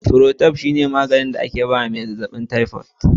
Cifrotab shine maganin da aka ba wa mai jinyar zazzabin tyfod.